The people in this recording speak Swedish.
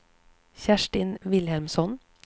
Kerstin Vilhelmsson